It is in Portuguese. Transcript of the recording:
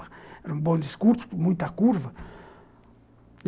Era um bonde curto, com muita curva.